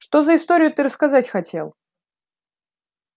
что за историю ты рассказать хотел